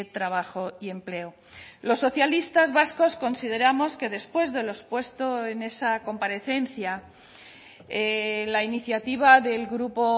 trabajo y empleo los socialistas vascos consideramos que después de lo expuesto en esa comparecencia la iniciativa del grupo